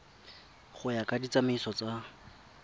go ya ka ditsamaiso tsa